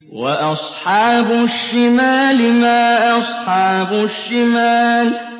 وَأَصْحَابُ الشِّمَالِ مَا أَصْحَابُ الشِّمَالِ